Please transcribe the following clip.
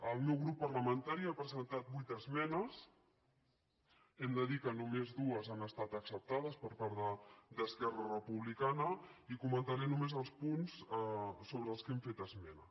el meu grup parlamentari ha presentat vuit esmenes hem de dir que només dues han estat acceptades per part d’esquerra republicana de catalunya i comentaré només els punts sobre els quals hem fet esmena